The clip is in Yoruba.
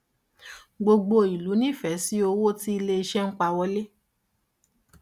gbogbo ìlú nífẹ̀ẹ́ sí owó tí ilé-iṣẹ́ ń pa wọlé.